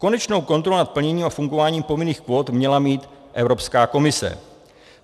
Konečnou kontrolu nad plněním a fungováním povinných kvót měla mít Evropská komise.